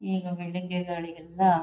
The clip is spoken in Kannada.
ಈಗ ಬಿಲ್ಡಿಂಗ್ ಗೆ ಗಳಿಗೆ ಎಲ್ಲ--